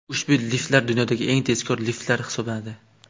Ushbu liftlar dunyodagi eng tezkor liftlar hisoblanadi.